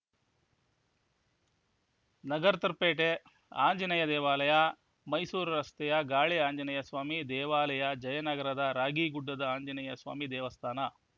ನಗರ್ತಪೇಟೆ ಆಂಜನೇಯ ದೇವಾಲಯ ಮೈಸೂರು ರಸ್ತೆಯ ಗಾಳಿ ಆಂಜನೇಯ ಸ್ವಾಮಿ ದೇವಾಲಯ ಜಯನಗರದ ರಾಗಿಗುಡ್ಡದ ಆಂಜನೇಯಸ್ವಾಮಿ ದೇವಸ್ಥಾನ